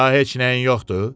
Daha heç nəyin yoxdur?